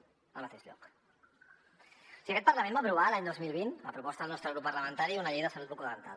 o sigui aquest parlament va aprovar l’any dos mil vint a proposta del nostre grup parlamentari una llei de salut bucodental